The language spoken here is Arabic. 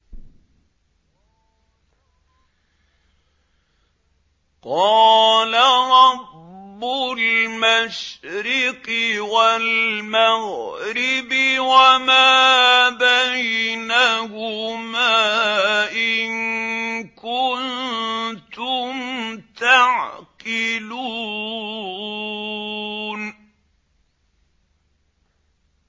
قَالَ رَبُّ الْمَشْرِقِ وَالْمَغْرِبِ وَمَا بَيْنَهُمَا ۖ إِن كُنتُمْ تَعْقِلُونَ